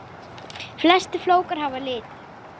Flestir flókar hafa lit.